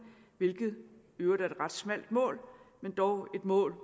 hvilket i øvrigt er et ret smalt mål men dog et mål